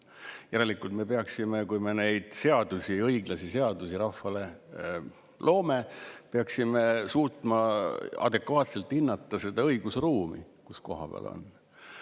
Järelikult me peaksime, kui me neid seadusi, õiglasi seadusi rahvale loome, suutma adekvaatselt hinnata seda õigusruumi, kus koha peal on seinad kusagil ees.